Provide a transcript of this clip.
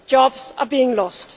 Jobs are being lost.